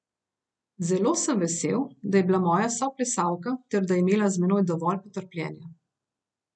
Zelo sem vesel, da je bila moja soplesalka ter da je imela z menoj dovolj potrpljenja.